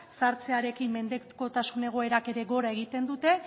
zahartzearekin mendekotasun egoerak ere gora egiten dute